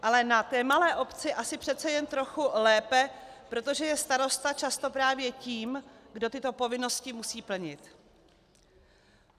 Ale na té malé obci asi přece jen trochu lépe, protože je starosta často právě tím, kdo tyto povinnosti musí plnit.